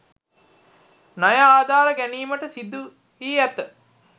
ණය ආධාර ගැනීමට සිදුවී ඇත